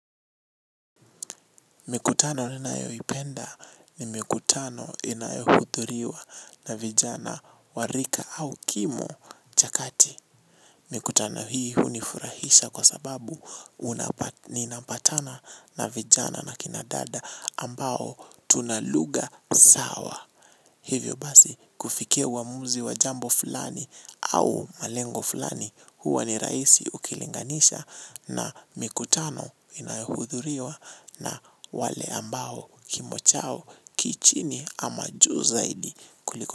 Mikutano ninayoipenda ni mikutano inayohuthuriwa na vijana warika au kimo chakati. Mikutano hii hunifurahisha kwa sababu unapa ninapatana na vijana na kinadada ambao tunaluga sawa. Hivyo basi kufikia uamuzi wa jambo fulani au malengo fulani huwa ni raisi ukilinganisha na mikutano inahudhuriwa na wale ambao kimochao kichini ama juu zaidi kuliko.